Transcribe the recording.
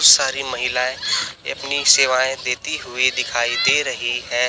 सारी महिलाएं अपनी सेवाएं देती हुई दिखाई दे रही है।